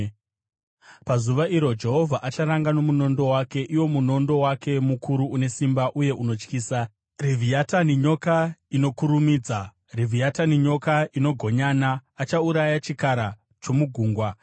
Pazuva iro, Jehovha acharanga nomunondo wake, iwo munondo wake mukuru une simba uye unotyisa, Revhiatani nyoka inokurumidza, Revhiatani nyoka inogonyana; achauraya chikara chomugungwa.